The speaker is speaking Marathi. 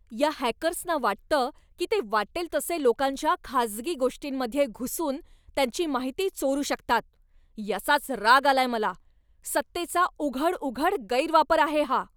या हॅकर्सना वाटतं की ते वाटेल तसे लोकांच्या खाजगी गोष्टींमध्ये घुसून त्यांची माहिती चोरू शकतात, याचाच राग आलाय मला. सत्तेचा उघड उघड गैरवापर आहे हा.